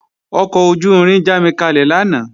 Ọkọ̀ ojú-irin jámikalẹ̀ lánàá